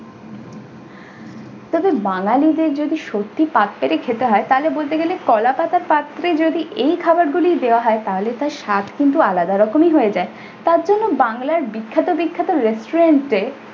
তবে বাঙ্গালীদের যদি সত্যি পাত পেরে খেতে হয় তাহলে বলতে গেলে কলা পাতার পাত্রে যদি এই খাবারগুলি দেওয়া হয় তাহলে তার স্বাদ কিন্তু আলাদা রকমেরই হয়ে যায়, তার জন্য বাংলার বিখ্যাত বিখ্যাত restaurant এ